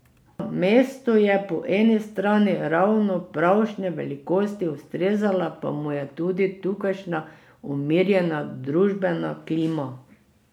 Mesto je po eni strani ravno pravšnje velikosti, ustrezala pa mu je tudi tukajšnja umirjena družbena klima.